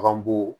Bagan bu